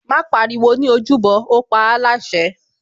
Má pariwo ní ojúbọ, ó paáláṣẹ